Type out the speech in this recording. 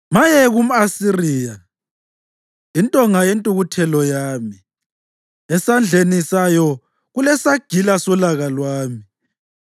“Maye kumʼAsiriya, intonga yentukuthelo yami, esandleni sayo kulesagila solaka lwami!